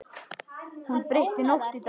Hún breytti nótt í dag.